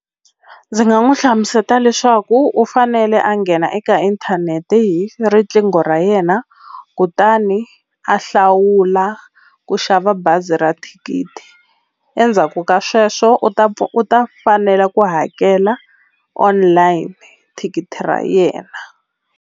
Ndzi nga n'wi hlamuseta leswaku u fanele a nghena eka inthanete hi riqingho ra yena kutani a hlawula ku xava bazi ra thikithi endzhaku ka sweswo u ta u ta fanela ku hakela online thikithi ra yena.